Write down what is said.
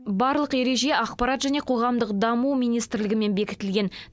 барлық ереже ақпарат және қоғамдық даму министрлігімен бекітілген